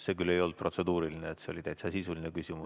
See küll ei olnud protseduuriline, see oli täitsa sisuline küsimus.